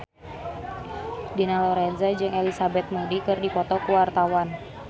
Dina Lorenza jeung Elizabeth Moody keur dipoto ku wartawan